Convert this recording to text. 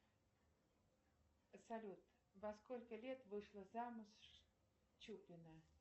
салют во сколько лет вышла замуж чупина